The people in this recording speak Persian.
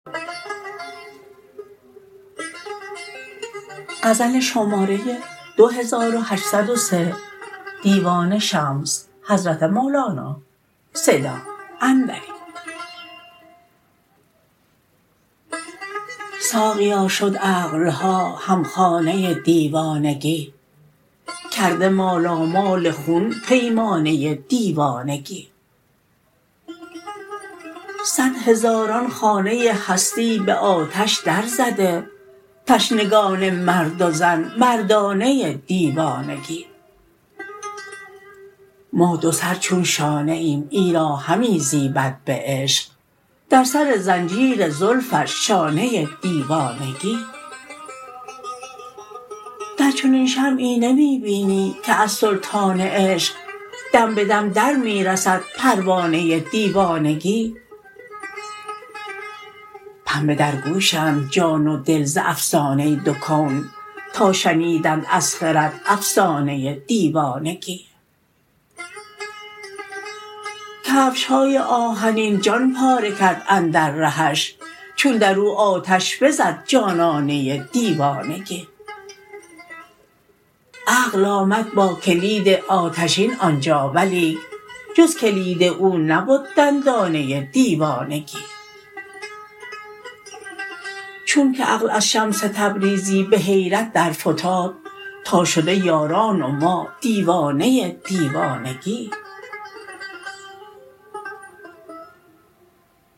ساقیا شد عقل ها هم خانه دیوانگی کرده مالامال خون پیمانه دیوانگی صد هزاران خانه هستی به آتش درزده تشنگان مرد و زن مردانه دیوانگی ما دوسر چون شانه ایم ایرا همی زیبد به عشق در سر زنجیر زلفش شانه دیوانگی در چنین شمعی نمی بینی که از سلطان عشق دم به دم در می رسد پروانه دیوانگی پنبه در گوشند جان و دل ز افسانه دو کون تا شنیدند از خرد افسانه دیوانگی کفش های آهنین جان پاره کرد اندر رهش چون در او آتش بزد جانانه دیوانگی عقل آمد با کلید آتشین آن جا ولیک جز کلید او نبد دندانه دیوانگی چونک عقل از شمس تبریزی به حیرت درفتاد تا شده یاران و ما دیوانه دیوانگی